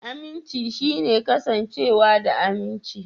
Aminci shine kasancewa da aminci.